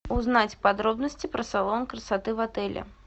узнать подробности про салон красоты в отеле